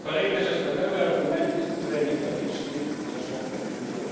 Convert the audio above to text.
Kolejna rzecz padały argumenty, które niekoniecznie wnoszą tak dużo.